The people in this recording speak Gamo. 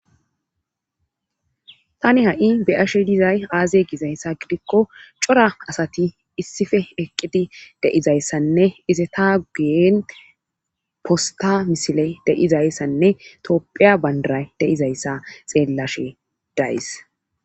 tani ha7i beyashe dizay aaze gizayssa gidikko cora asati issife eqqidi de7izayssanne izeta guyen posta misile de7izayssanne topphiya bandaray de7izayssa xeellashe daaysi